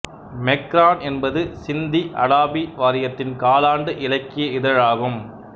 Macron என்பது சிந்தி அடாபி வாரியத்தின் காலாண்டு இலக்கிய இதழாகும்